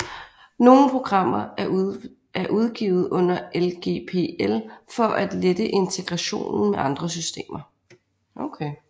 Nogle programmer er udgivet under LGPL for at lette integrationen med andre systemer